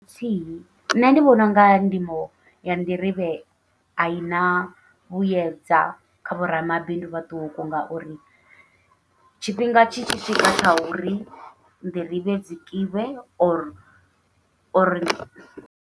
Nṋe ndi vhona unga ndimo ya nḓirivhe aina vhuyedza kha vho ramabindu vhaṱuku, ngauri tshifhinga tshi tshi swika tsha uri nḓirivhe dzi kiwe or or.